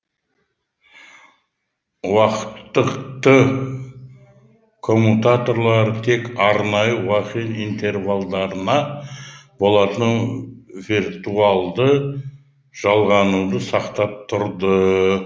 уақыттық т коммутаторлары тек арнайы интервалдарында болатын виртуалды жалғануды сақтап тұрды